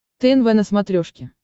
тнв на смотрешке